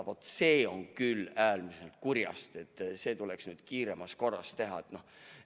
Vaat see on küll äärmiselt kurjast ja see tuleks kiiremas korras korda teha.